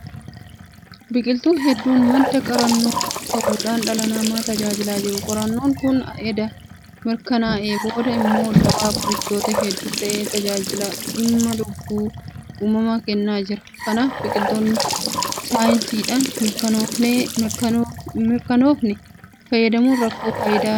Biqiltuun hedduun madda qorannoo ta'uudhaan dhala namaa tajaajilaa jiru. Qorannoon kun edda mirkanaa'ee booda immoo dawaa dhukkuboota hedduu ta'ee tajaajila dhimma lubbuu uumama kennaa jirudha. Kanaaf biqiltuu saayinsiidhaan hinmirkanoofne fayyadamuun rakkoo fayyaa dabalataa fidee dhufuu danda'a.